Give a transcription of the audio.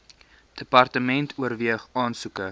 department oorweeg aansoeke